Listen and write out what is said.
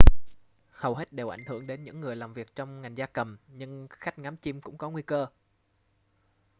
hầu hết đều ảnh hưởng đến những người làm việc trong ngành gia cầm nhưng khách ngắm chim cũng có nguy cơ